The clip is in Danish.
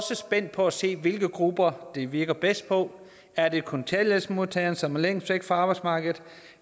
spændt på at se hvilke grupper det virker bedst på er det kontanthjælpsmodtageren som er længst væk fra arbejdsmarkedet